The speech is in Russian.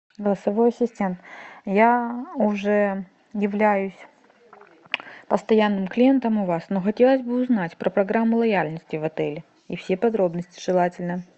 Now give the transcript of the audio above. голосовой ассистент я уже являюсь постоянным клиентом у вас но хотелось бы узнать про программу лояльности в отеле и все подробности желательно